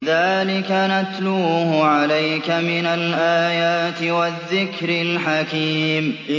ذَٰلِكَ نَتْلُوهُ عَلَيْكَ مِنَ الْآيَاتِ وَالذِّكْرِ الْحَكِيمِ